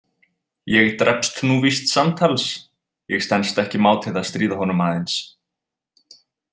„Ég drepst nú víst samtals“ Ég stenst ekki mátið að stríða honum aðeins.